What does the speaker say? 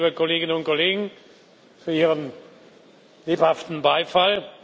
Vielen Dank, liebe Kolleginnen und Kollegen, für Ihren lebhaften Beifall.